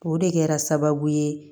O de kɛra sababu ye